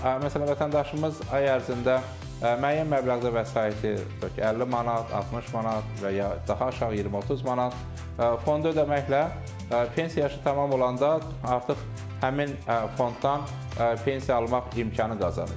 Amma məsələn, vətəndaşımız ay ərzində müəyyən məbləğdə vəsaiti, tutaq ki, 50 manat, 60 manat və ya daha aşağı 20-30 manat fonda ödəməklə pensiya yaşı tamam olanda artıq həmin fonddan pensiya almaq imkanı qazanır.